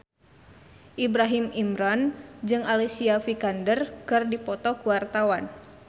Ibrahim Imran jeung Alicia Vikander keur dipoto ku wartawan